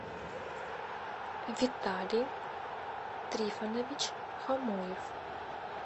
виталий трифонович хамуев